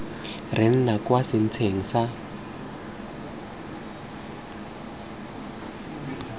re nna kwa setsheng sa